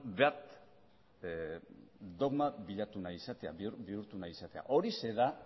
bat dogma bilatu nahi izatea bihurtu nahi izatea horixe da